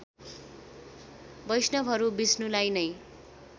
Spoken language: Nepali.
वैष्णवहरू विष्णुलाई नै